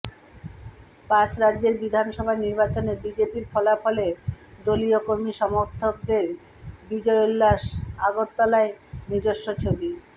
পাঁচ রাজ্যের বিধানসভা নির্বাচনে বিজেপির ফলাফলে দলীয় কর্মী সমর্থকদের বিজয়োল্লাস আগরতলায় নিজস্ব ছবি